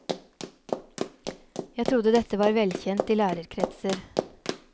Jeg trodde dette var velkjent i lærerkretser.